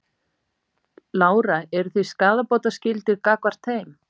Lára: Eru þið skaðabótaskyldir gagnvart þeim?